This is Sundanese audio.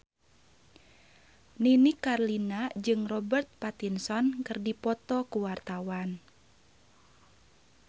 Nini Carlina jeung Robert Pattinson keur dipoto ku wartawan